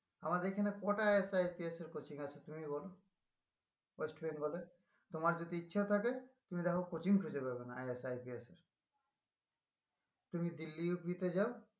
আমাদের এখানে কটা IS, IPS এর coaching আছে তুমি বলো? ওয়েস্ট বেঙ্গলে তোমার যদি ইচ্ছা থাকে তুমি দেখো coaching খুজে পাবে না IS, IPS এর তুমি দিল্লি ইউপি তে যাও